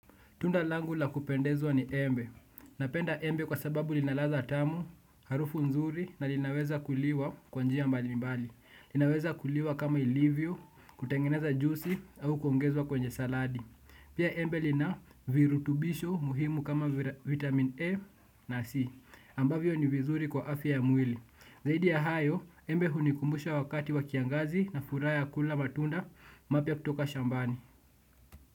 Tunda langu la kupendezwa ni embe. Napenda embe kwa sababu lina ladha tamu, harufu nzuri na linaweza kuliwa kwa njia mbalimbali. Linaweza kuliwa kama ilivyo, kutengeneza juisi au kuongezwa kwenye saladi. Pia embe lina virutubisho muhimu kama vitamin A na C. Ambavyo ni vizuri kwa afya ya mwili. Zaidi ya hayo, embe hunikumbusha wakati wa kiangazi na furaha ya kula matunda mapya kutoka shambani.